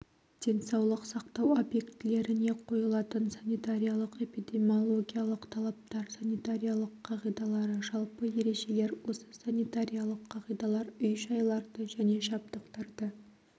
денсаулық сақтау объектілеріне қойылатын санитариялық-эпидемиологиялық талаптар санитариялық қағидалары жалпы ережелер осы санитариялық қағидалар үй-жайларды және жабдықтарды